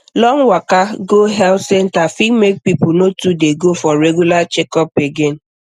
long waka go health center fit make people no too dey go for regular checkup again